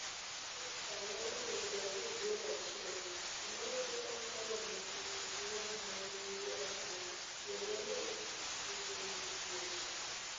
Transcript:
Oscar ne omiyo Brazil gol achiel, to mano ne ok oromo tieko pi wang' ma ne giyuakgo - tiende ni, tieko wichkuot!